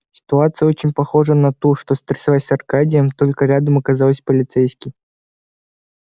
ситуация очень похожая на ту что стряслась с аркадием только рядом оказался полицейский